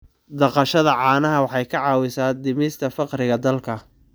Dhaqashada caanaha waxay ka caawisaa dhimista faqriga dalka.